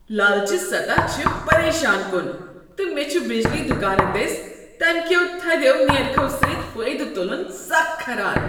لالچہِ سطح چھ پریشان کُن، تہٕ مےٚ چھ بجلی دکانہٕ دٔسۍ تمہ کٮ۪و تھدٮ۪و نیرخو سۭتۍ فٲیدٕ تٖلٖن سخ کھران۔